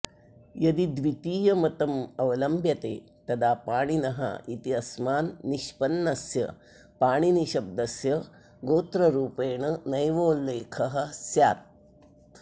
यदि द्वितीयमतमवलम्व्यते तदा पाणिन इत्यस्मान्निष्पन्नस्य पाणिनिशब्दस्य गोत्ररूपेण नैवोल्लेखः स्यात्